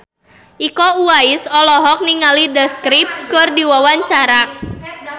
Iko Uwais olohok ningali The Script keur diwawancara